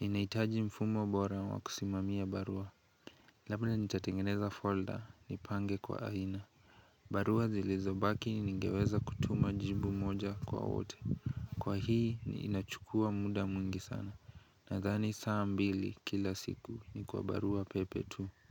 Ninahitaji mfumo bora wa kusimamia barua Labda nitatengeneza folder nipange kwa aina barua zilizobaki ningeweza kutuma jibu moja kwa wote Kwa hii ni inachukua muda mwingi sana Nadhani saa mbili kila siku ni kwa barua pepe tu.